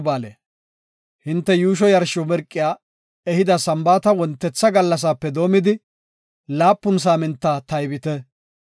Hinte yuusho yarsho mirqiya ehida Sambaata wontetha gallasaape doomidi, laapun saaminta taybite.